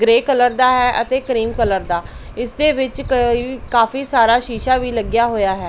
ਗਰੇ colour ਦਾ ਹੈ ਅਤੇ ਕਰੀਮ ਕਲਰ ਦਾ ਇਸਦੇ ਵਿੱਚ ਕਾਫੀ ਸਾਰਾ ਸ਼ੀਸ਼ਾ ਵੀ ਲੱਗਿਆ ਹੋਇਆ ਹੈ।